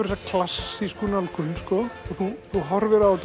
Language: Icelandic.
þessi klassíska nálgun og þú þú horfir og